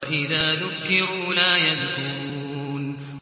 وَإِذَا ذُكِّرُوا لَا يَذْكُرُونَ